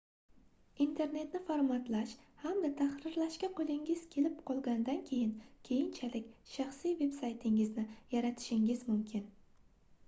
internetda formatlash hamda tahrirlashga qoʻlingiz kelib qolgandan keyin keyinchalik shaxsiy veb-saytingizni yaratishingiz mumkin